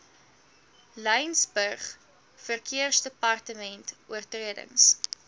laingsburg verkeersdepartement oortredings